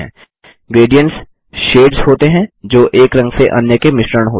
gradients shades होते हैं जो एक रंग से अन्य के मिश्रण होते हैं